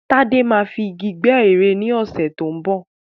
Tádé máa fi Igi gbẹ́ ère ni ọ̀sẹ̀ tó ń bọ̀.